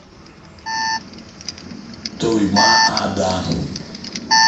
туймаада